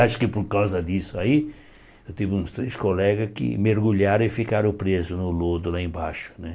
Acho que por causa disso aí, eu tive uns três colegas que mergulharam e ficaram presos no lodo lá embaixo né.